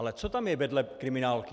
Ale co tam je vedle kriminálky?